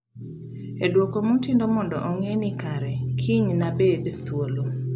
e dwoko Mutindo mondo ong'e ni kare kiny nabed thuolo